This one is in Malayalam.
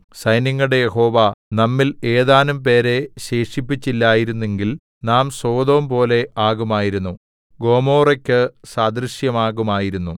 സൈന്യങ്ങളുടെ യഹോവ നമ്മിൽ ഏതാനുംപേരെ ശേഷിപ്പിച്ചില്ലായിരുന്നെങ്കിൽ നാം സൊദോംപോലെ ആകുമായിരുന്നു ഗൊമോറായ്ക്കു സദൃശമാകുമായിരുന്നു